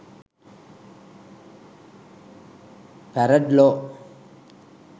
farad law